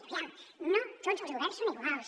aviam no tots els governs són iguals